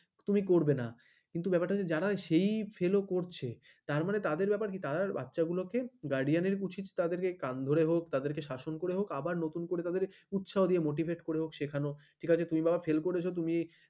তুমি করবেনা কিন্তু ব্যাপারটা হচ্ছে যারা সেই fail করছে তারমানে তাদের ব্যাপারে কি তারা বাচ্চাগুলোকে guardian উচিত তাদেরকে কান ধরে হোক তাদেরকে শাসন করে হোক আবার নতুন করে তাদের উৎসাহ দিয়ে motivate করে হোক সেখানে তুই বাবা fail করেছ তুমি